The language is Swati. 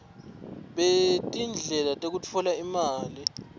betindlela tekutfola imali